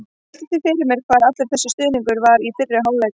Ég velti því fyrir mér hvar allur þessi stuðningur var í fyrri hálfleik?